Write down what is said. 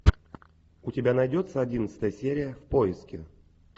у тебя найдется одиннадцатая серия в поиске